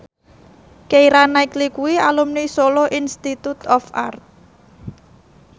Keira Knightley kuwi alumni Solo Institute of Art